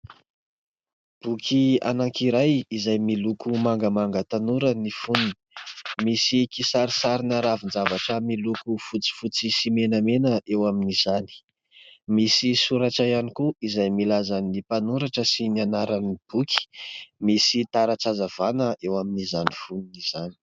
Boky anankiray izay miloko mangamanga tanora ny foniny. Misy kisarisarina ravin-javatra miloko fotsifotsy sy menamena eo amin'izany. Misy soratra ihany koa izay milaza ny mpanoratra sy ny anaran'ny boky misy taratra hazavana eo amin'izany foniny izany.